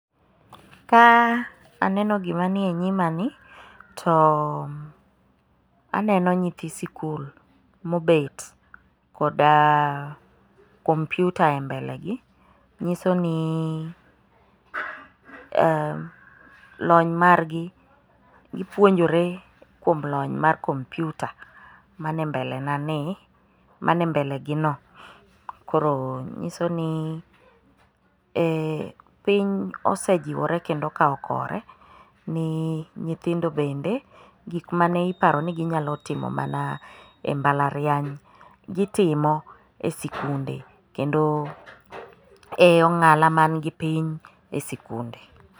Ka aneno gima nie nyimani, to aneno nyithi sikul mobet, koda kompyuta e mbele gi, nyiso ni lony margi ,gipuonjore kuom lony mar kompyuta mane mbele gino, koro nyiso ni piny osejiwore kendo okawo kore ni nyithindo bende gik mane iparoni ginyalo timo mana e mbalariany, gitimo e sikunde kendo e ong'ala mani gipiny e sikunde.